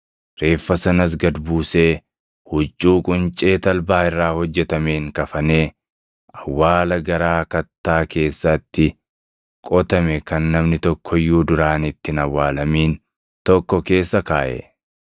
Reeffa sanas gad buusee huccuu quncee talbaa irraa hojjetameen kafanee awwaala garaa kattaa keessatti qotame kan namni tokko iyyuu duraan itti hin awwaalamin tokko keessa kaaʼe.